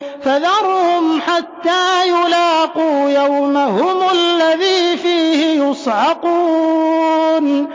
فَذَرْهُمْ حَتَّىٰ يُلَاقُوا يَوْمَهُمُ الَّذِي فِيهِ يُصْعَقُونَ